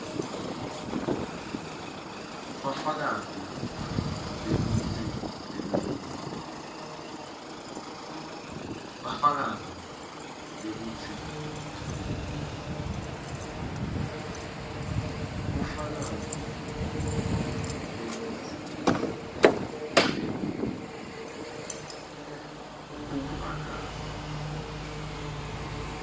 bufakazi bekutsi leminye